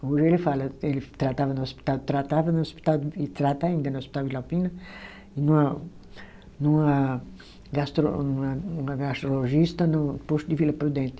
Hoje ele fala, ele tratava no hospital, tratava no hospital e trata ainda no hospital Vila Alpina, e numa numa gastro, numa gastrologista no posto de Vila Prudente.